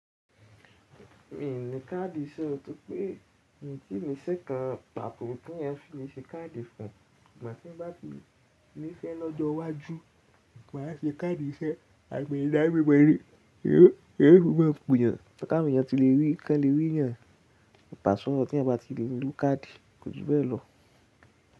Mi ò ní káàdì iṣẹ́, torí pé èmi o tí ni íse kan pàto, tí wọ́n fi le ṣe káàdì fún mi. Màá ṣé bá ti ní iṣẹ́ lọ́jọ́ iwájú, mo máa ṣe káàdì iṣẹ́ àgbẹ̀ ìdábẹ́ bọ̀lì. Yóò máa pọ̀ yàn, tẹ ka bí iṣẹ́ kan lè rí yàn pàṣán lọ tí ẹ bá ti lè ní káàdì, kò sí bẹ́ẹ̀ lọ.